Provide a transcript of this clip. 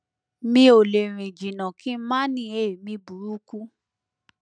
mi ò lè rìn jìnnà kí n má ní èémí burúkú